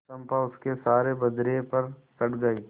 चंपा उसके सहारे बजरे पर चढ़ गई